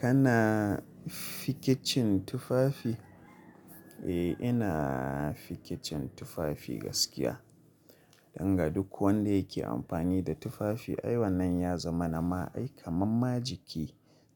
Kana fikicin tufafi? Eh, ina fikicin tufafi gaskiya. Danga duk wanda yake amfani da tufafi ai wannan ya zama nan ma ai kamar ma jiki